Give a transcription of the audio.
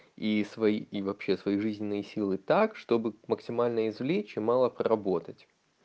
и свои и вообще свои жизненные силы так чтобы максимально извлечь и мало проработать